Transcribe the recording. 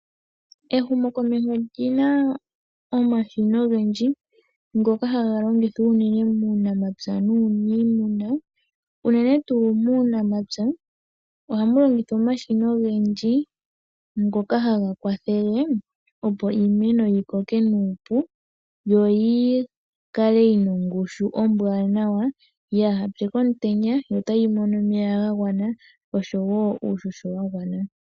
Ehumokomeho olina omashina ogendji ngoka haga longithwa unene tuu muunamapya ohamu longithwa omashina ogendji ngoka haga kwathele opo iimeno yikoke nuupu yo yikale yina ongushu ombwanawa ka yipye komutenya yo otayi mono omeya gagwana oshowo uuhoho wagwana.